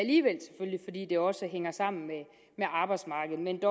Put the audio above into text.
i i det også hænger sammen med arbejdsmarkedet men